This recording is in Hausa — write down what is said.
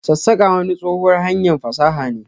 sassaka wani tsohuwan hanyar fasaha ne.